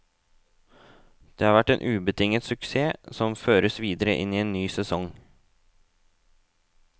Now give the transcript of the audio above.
Det har vært en ubetinget suksess, som føres videre inn i en ny sesong.